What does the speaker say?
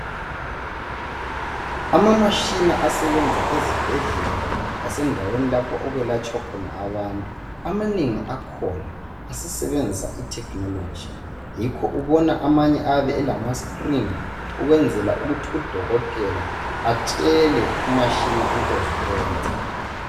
Ama mashina asebenza ezibhedlela lasendaweni lapho okwelatshwa abantu, amanengi akhona asesebenzisa i"technology ".Yikho ubona amanye ayabe elama"screen" ukwenzela ukuthi udokotela atshela umtshini into zokwenza